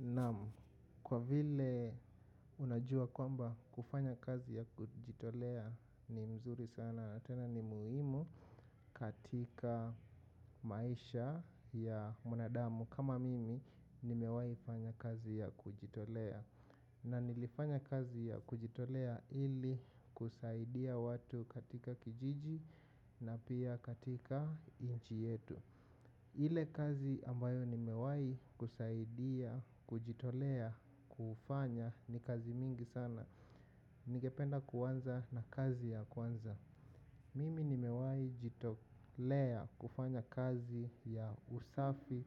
Na kwa vile unajua kwamba kufanya kazi ya kujitolea ni mzuri sana. Tena ni muhimu katika maisha ya mwanadamu kama mimi nimewai fanya kazi ya kujitolea. Na nilifanya kazi ya kujitolea ili kusaidia watu katika kijiji na pia katika inchi yetu. Ile kazi ambayo nimewai kusaidia, kujitolea, kufanya ni kazi mingi sana. Ningependa kuanza na kazi ya kwanza. Mimi nimewai kujitolea kufanya kazi ya usafi